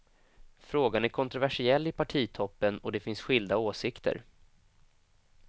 Frågan är kontroversiell i partitoppen och det finns skilda åsikter.